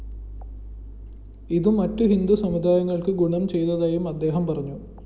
ഇതു മറ്റു ഹിന്ദു സമുദായങ്ങള്‍ക്ക് ഗുണം ചെയ്തതായും അദ്ദേഹം പറഞ്ഞു